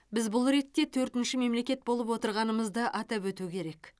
біз бұл ретте төртінші мемлекет болып отырғанымызды атап өту керек